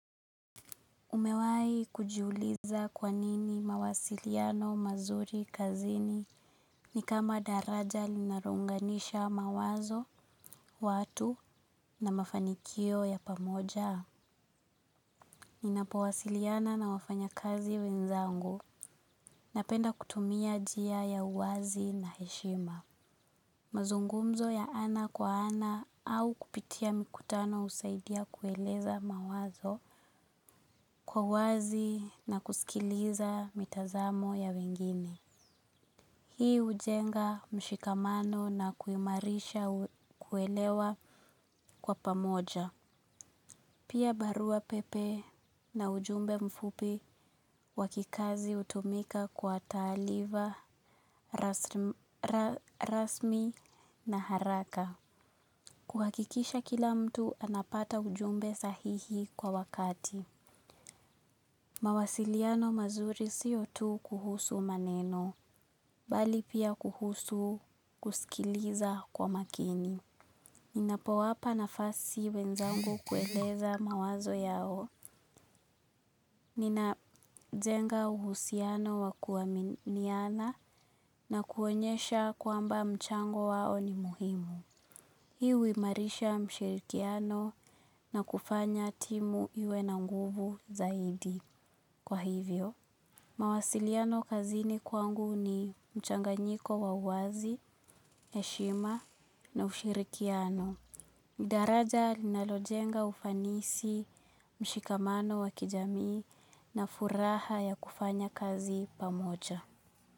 Umewai kujiuliza kwa nini mawasiliano, mazuri, kazini ni kama daraja linarounganisha mawazo, watu na mafanikio ya pamoja. Ninapowasiliana na wafanyakazi wenzangu napenda kutumia jia ya uwazi na heshima. Mazungumzo ya ana kwa ana au kupitia mikutano usaidia kueleza mawazo kwa wazi na kusikiliza mitazamo ya wengine. Hii ujenga mshikamano na kuimarisha kuelewa kwa pamoja. Pia barua pepe na ujumbe mfupi wa kikazi utumika kwa taaliva rasmi na haraka. Kuhakikisha kila mtu anapata ujumbe sahihi kwa wakati. Mawasiliano mazuri siyo tu kuhusu maneno, bali pia kuhusu kusikiliza kwa makini. Ninapowapa nafasi wenzangu kueleza mawazo yao. Ninajenga uhusiano wa kuaminiana na kuonyesha kwamba mchango wao ni muhimu. Hii uimarisha mshirikiano na kufanya timu iwe na nguvu zaidi. Kwa hivyo, mawasiliano kazini kwangu ni mchanganyiko wa uwazi, heshima na ushirikiano. Daraja linalojenga ufanisi, mshikamano wa kijamii na furaha ya kufanya kazi pamoja.